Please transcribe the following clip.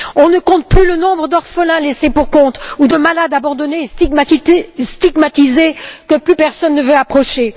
On ne compte plus le nombre d'orphelins laissés pour compte ou de malades abandonnés et stigmatisés, que plus personne ne veut approcher.